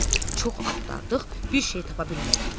Çox axtardıq, bir şey tapa bilmədik.